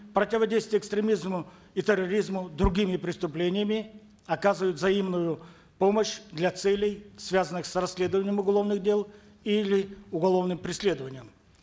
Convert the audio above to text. противодействие экстремизму и терроризму другими преступлениями оказывают взаимную помощь для целей связанных с расследованием уголовных дел или уголовным преследованием